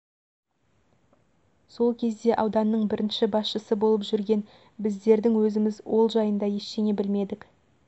сол кезде ауданның бірінші басшысы болып жүрген біздердің өзіміз ол жайында ештеңе білмедік